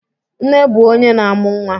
Nne bụ onye na-amu nwa